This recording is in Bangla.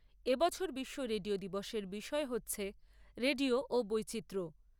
এ বছর বিশ্ব রেডিও দিবসের বিষয় হচ্ছে রেডিও ও বৈচিত্র্য।